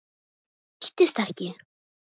Þetta rættist ekki.